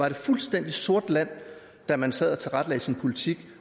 et fuldstændig sort land da man sad og tilrettelagde sin politik